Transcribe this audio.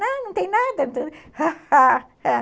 Não, não tem nada.